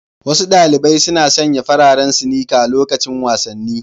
Wasu ɗaliɓai suna sanƴa fararen sinika loƙacin wasanni.